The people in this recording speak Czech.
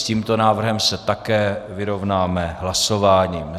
S tímto návrhem se také vyrovnáme hlasováním.